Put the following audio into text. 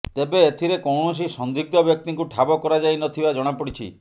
ତେବେ ଏଥିରେ କୌଣସି ସନ୍ଦିଗ୍ଧ ବ୍ୟକ୍ତିଙ୍କୁ ଠାବ କରାଯାଇନଥିବା ଜଣାପଡ଼ିଛି